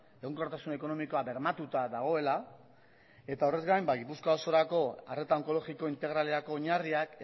egonkortasun ekonomikoa bermatuta dagoela eta horrez gain gipuzkoa osorako arreta onkologiko integralerako oinarriak